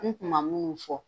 N tun ma minnu fɔ.